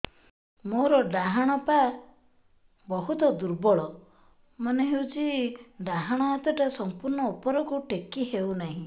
ମୋର ଡାହାଣ ପାଖ ବହୁତ ଦୁର୍ବଳ ମନେ ହେଉଛି ଡାହାଣ ହାତଟା ସମ୍ପୂର୍ଣ ଉପରକୁ ଟେକି ହେଉନାହିଁ